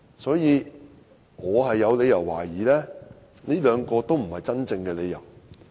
所以，我有理由懷疑這兩個都不是真正的理由。